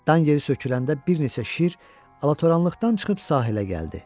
Dan yeri söküləndə bir neçə şir alatoranlıqdan çıxıb sahilə gəldi.